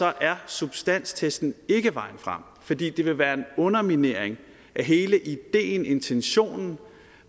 er substanstesten ikke vejen frem det vil være en underminering af hele ideen intentionen